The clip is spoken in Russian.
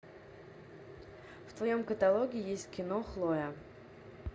в твоем каталоге есть кино хлоя